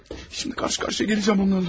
Şimdi qarşı-qarşıya gələcəm onlarla.